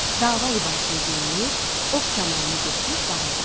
Dava libasını geyinib, ox kamanını götürüb bağa getdi.